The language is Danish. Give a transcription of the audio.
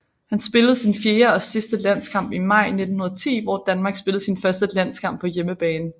Han spillede sin fjerde og sidste landskamp i maj 1910 hvor Danmark spillede sin første landskamp på hjemmebane